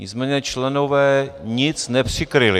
Nicméně členové nic nepřikryli.